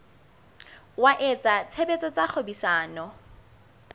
wa etsa tshebetso tsa kgwebisano